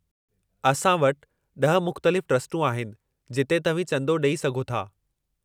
असां वटि 10 मुख़्तलिफ़ ट्रस्टूं आहिनि जिते तव्हीं चंदो ॾेई सघो था।